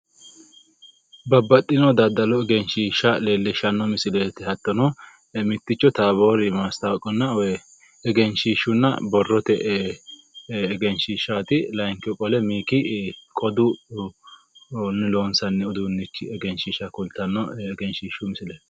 Babbaxxino daddalu egrnshiishsha leellishshanno misileeti. Hattono mitticho taaboori maastawoqunna woy egenshiishshu borrote egenshiishshaati layiinkihu qole miikki qodunni loonsanni uduunnichi egenshiisha kultanno egenshiishshu misileeti.